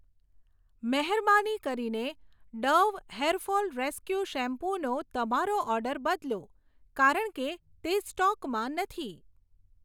મહેરબાની કરીને Dove hair fall rescue શેમ્પૂનો તમારો ઓર્ડર બદલો, કારણ કે તે સ્ટોકમાં નથી.